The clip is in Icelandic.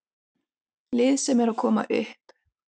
Lið sem er að koma upp.